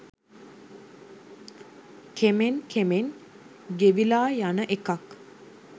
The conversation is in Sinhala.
කෙමෙන් කෙමෙන් ගෙවිලා යන එකක්.